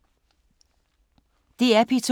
DR P2